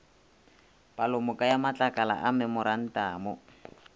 palomoka ya matlakala a memorantamo